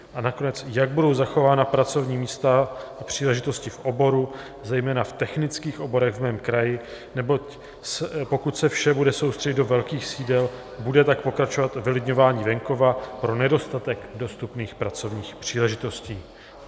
A nakonec, jak budou zachována pracovní místa a příležitosti v oboru, zejména v technických oborech v mém kraji, neboť pokud se vše bude soustředit do velkých sídel, bude tak pokračovat vylidňování venkova pro nedostatek dostupných pracovních příležitostí.